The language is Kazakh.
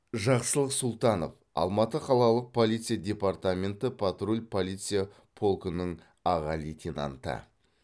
жақсылық сұлтанов алматы қалалық полиция департаменті патруль полиция полкінің аға лейтенанты